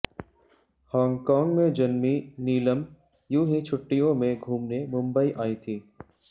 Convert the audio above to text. Hong Kong में जन्मीं नीलम यूं हीं छुट्टियों में घूमने मुंबई आईं थीं